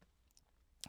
DR1